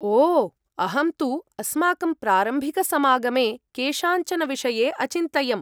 ओ अहं तु अस्माकं प्रारम्भिकसमागमे केषाञ्चन विषये अचिन्तयम्।